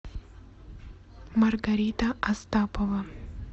маргарита остапова